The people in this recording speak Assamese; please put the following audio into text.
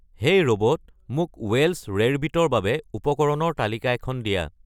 হেই ৰ'ব'ট মোক ৱেল্চ ৰেৰবিটৰ বাবে উপকৰণৰ তালিকা এখন দিয়া